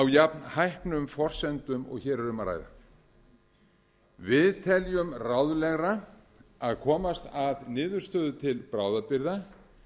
jafnhæpnum forsendum og hér er um að ræða við teljum ráðlegra að komast að niðurstöðu til bráðabirgða